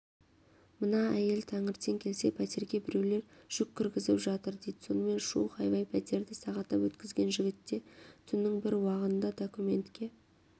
мына әйел тәңертең келсе пәтерге біреулер жүк кіргізіп жатыр дид сонымен шу хайвай пәтерді сағаттап өткізген жігітте түннің бір уағында документке